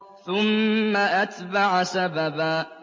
ثُمَّ أَتْبَعَ سَبَبًا